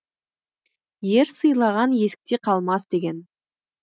ер сыйлаған есікте қалмас деген